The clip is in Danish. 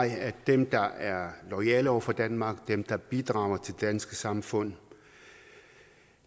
jeg at dem der er loyale over for danmark dem der bidrager til det danske samfund